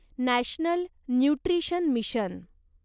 national nutrition mission